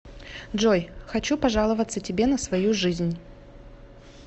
джой хочу пожаловаться тебе на свою жизнь